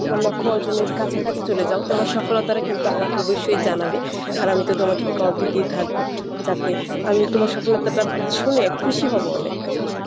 তোমার লক্ষ্য অর্জনের কাছাকাছি চলে যাও, তোমার সফলতাটা কিন্তু আমাকে অবশ্যই জানাবে আর আমি তো তোমাকে call দিতেই থাকবো যাতে আমি তোমার সফলতাটা শুনে খুশি হব অনেক আসল।